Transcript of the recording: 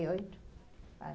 oito anos.